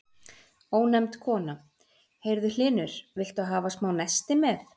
Ónefnd kona: Heyrðu Hlynur, viltu hafa smá nesti með?